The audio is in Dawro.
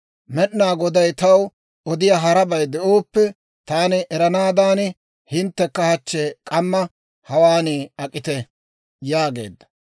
Med'inaa Goday taw odiyaa harabay de'ooppe taani eranaadan, hinttekka hachchi k'amma hawaan ak'ite» yaageedda.